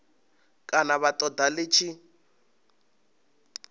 kana vha ṱoḓa ḽi tshi